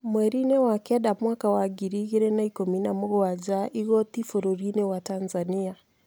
mwerinĩ wa kenda mwaka wa ngiri igĩrĩ na ikũmi na mũgwaja, igoti bũrũrinĩ wa Tanzania